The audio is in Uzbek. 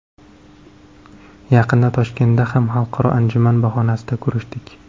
Yaqinda Toshkentda ham xalqaro anjuman bahonasida ko‘rishdik.